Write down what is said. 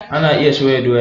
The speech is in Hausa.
Ana iya soya doya